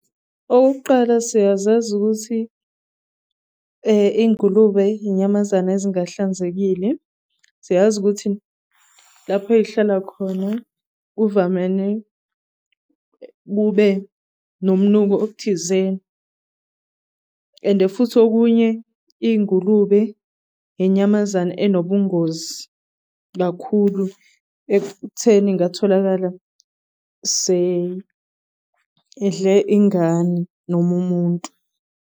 Okokuqala siyazazi ukuthi ingulube inyamazane ezingahlanzekile. Siyazi ukuthi lapho ey'hlala khona kuvamene kube nob'nuku obuthizeni, ende futhi okunye iy'ngulube inyamazane enobungozi kakhulu ekutheni ingatholakala seyidle ingane noma umuntu.